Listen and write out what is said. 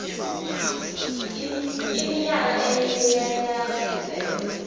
iminyaka emine yelayisense